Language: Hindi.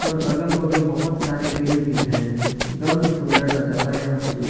अगल-बगल बहुत सारे पेड़ भी दिखाई दे रहे हैं एक दम ही सुन्दर नजारा यहाँ पर दिख --